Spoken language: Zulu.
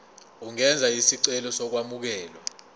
ungenza isicelo sokwamukelwa